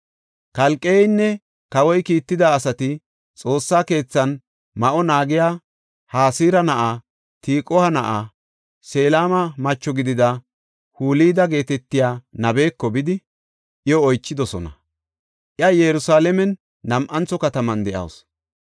Kalqeynne kawoy kiitida asati Xoossa keethan ma7o naagiya Hasira na7a, Tiquwa na7a, Selema macho gidida Hulda geetetiya nabeko bidi iyo oychidosona. Iya Yerusalaamen nam7antho kataman de7awusu.